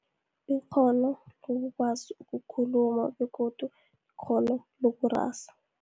Ikghono lokukwazi ukukhuluma begodu ikghono lokurasa.